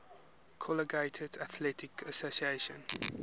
collegiate athletic association